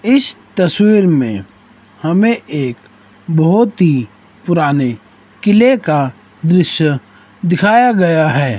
इस तस्वीर में हमें एक बहुत ही पुराने किले का दृश्य दिखाया गया है।